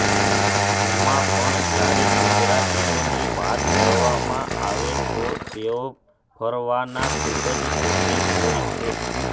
એમાં પણ જયારે ગુજરાતીઓની વાત કરવામાં આવે તો તેઓ ફરવાના ખૂબ જ શોખીન હોય છે